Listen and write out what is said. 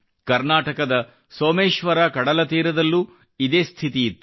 ಕರ್ನಾಟಕದ ಸೋಮೇಶ್ವರ ಕಡಲತೀರದಲ್ಲೂ ಇದೇ ಸ್ಥಿತಿಯಿತ್ತು